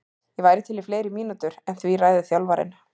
Ég væri til í fleiri mínútur en því ræður þjálfarinn.